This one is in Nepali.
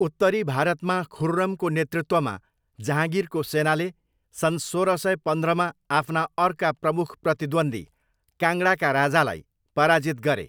उत्तरी भारतमा, खुर्रमको नेतृत्वमा जहाँगिरको सेनाले सन् सोह्र सय पन्ध्रमा आफ्ना अर्का प्रमुख प्रतिद्वन्द्वी, काङ्गडाका राजालाई पराजित गरे।